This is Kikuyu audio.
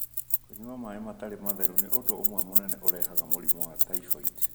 Kũnyua maĩ matarĩ matheru nĩ ũndũ ũmwe mũnene ũrehaga mũrimũ wa typhoid.